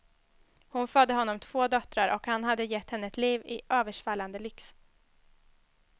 Hon födde honom två döttrar och han hade gett henne ett liv i översvallande lyx.